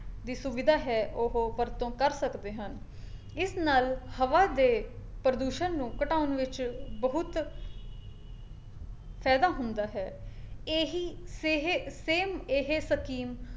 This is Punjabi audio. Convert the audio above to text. ਦੀ ਸੁਵਿਧਾ ਹੈ ਉਹ ਵਰਤੋਂ ਕਰ ਸਕਦੇ ਹਨ ਇਸ ਨਾਲ ਹਵਾ ਦੇ ਪ੍ਰਦੂਸ਼ਣ ਨੂੰ ਘਟਾਉਣ ਵਿੱਚ ਬਹੁਤ ਫਾਇਦਾ ਹੁੰਦਾ ਹੈ, ਇਹੀ ਸੇਹੇ same ਇਹ ਸਕੀਮ